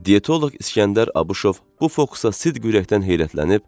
Dietoloq İsgəndər Abışov bu fokusa sidq ürəkdən heyrətləndi.